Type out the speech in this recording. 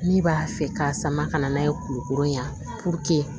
Min b'a fɛ ka sama ka na n'a ye kulukoro yan